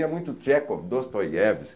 E é muito Tchekhov, Dostoyevsky,